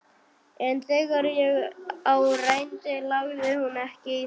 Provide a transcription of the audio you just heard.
En þegar á reyndi lagði hún ekki í það.